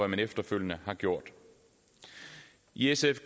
den efterfølgende har gjort i sf